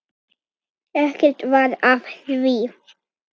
Ekkert varð af því.